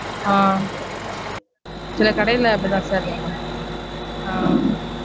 ஆஹ் சில கடைல அப்டிதா sir இருக்கும். ஆஹ்